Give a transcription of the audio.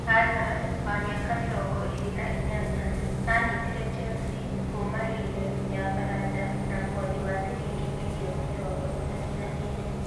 Hazard, wa mĩaka mĩrongo ĩrĩ na inyanya, aanyitire Chelsea kuuma Lille ya Faranja na mũhothi wa ciringi mirioni mĩrongo ĩtatu na ĩrĩ.